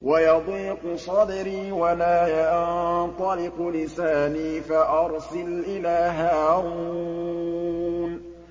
وَيَضِيقُ صَدْرِي وَلَا يَنطَلِقُ لِسَانِي فَأَرْسِلْ إِلَىٰ هَارُونَ